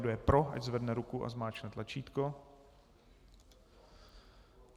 Kdo je pro, ať zvedne ruku a zmáčkne tlačítko.